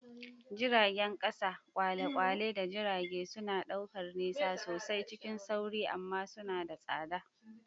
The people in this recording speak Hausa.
Jiragen ƙasa, kwale-kwale, da jirage suna ɗaukar nisa sosai cikin sauri amma suna da tsada.